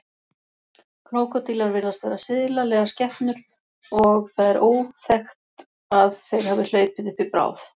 Krókódílar virðast vera silalegar skepnur og það er óþekkt að þeir hafi hlaupið uppi bráð.